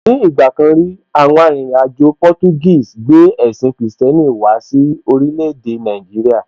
Ní ìgbà kan rí, àwọn arìnrìn-àjò Portuguese gbé ẹ̀sìn kìrìsìtẹ́nì wá sí orílẹ̀ èdè Nàìjíríà.